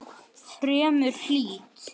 Fremur hlýtt.